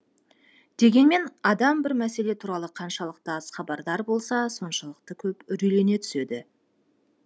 дегенмен адам бір мәселе туралы қаншалықты аз хабардар болса соншалықты көп үрейлене түседі